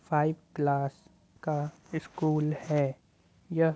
five class का school है यह --